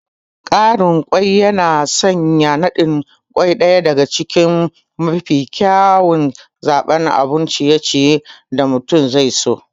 Ƙarin kwai yana sanya naɗin kwai ɗaya daga cikin mafi kyawun zaɓin abun ciye-ciye da mutum zaiso.